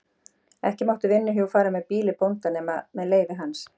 Ekki máttu vinnuhjú fara frá býli bónda nema með leyfi hans.